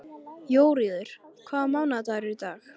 Jóríður, hvaða mánaðardagur er í dag?